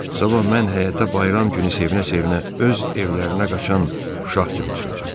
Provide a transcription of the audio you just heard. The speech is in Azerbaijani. Sabah mən həyətə bayram günü sevinə-sevinə öz evlərinə qaçan uşaq kimi çıxacam.